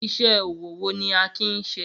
Iṣẹ́ ọwọ́ wo ni Akin ń ṣe?